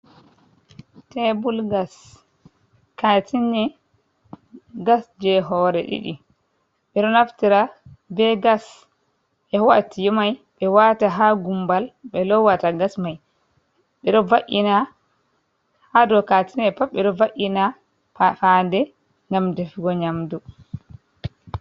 Tebul gas katene gas je hore ɗiɗi, ɓeɗo naftira be gas ɓe waɗa tiwo mai ɓe wata ha gumbal ɓe lowata gas mai ɓeɗo va’ina ha ɗou katine mai ɓeɗo va'ina fande ngam defugo nyamdu.